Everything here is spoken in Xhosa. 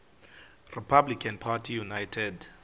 republican party united